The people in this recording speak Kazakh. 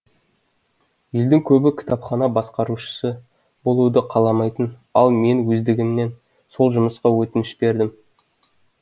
елдің көбі кітапхана басқарушысы болуды қаламайтын ал мен өздігімнен сол жұмысқа өтініш бердім